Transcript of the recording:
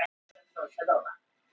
Næringarefni frá landbúnaði